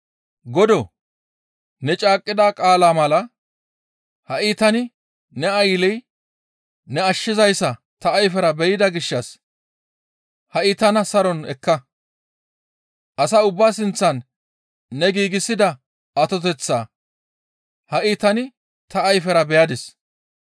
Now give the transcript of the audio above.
«Godoo! Ne caaqqida qaalaa mala ha7i tani ne aylley ne ashshizayssa ta ayfera be7ida gishshas hi7a tana saron ekka; asa ubbaa sinththan ne giigsida atoteththaa ha7i tani ta ayfera beyadis.